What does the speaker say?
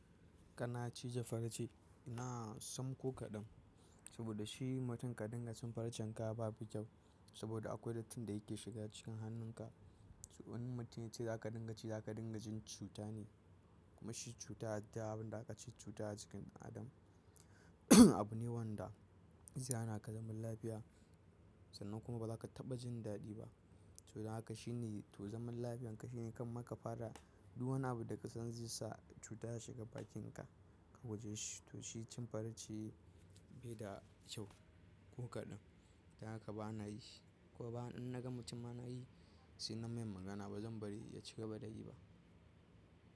Kana cije farar ce ina sam ko kaɗan saboda shi mutum ka dinga cin farcen ka babu kyau saboda akwai datti da yake shiga cikin hannunka. Wani mutum yace za ka dinga ci, za ka dinga jin cuta ne kuma shi cuta har da abin da aka ce cuta a jikin adam. Abu ne wanda zai hana ka zaman lafiya sannan kuma ba za ka taɓa jin daɗi ba. Toh don haka shine to zaman lafiyan ka shine kan maka fara duk wani abu da ka san zai sacuta ya shiga bakinka ka guje shi. To shi cin farce bai da kyau ko kaɗan. Don haka ba na yi ko ba in na ga mutum ana yi, sai namai magana ba zan bari ya ci gaba da yi ba.